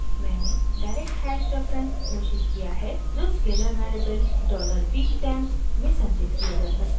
मैंने direct hash reference घोषित किया है जो स्केलर वेरिएबल $weektemp में संचित किया जा सकता है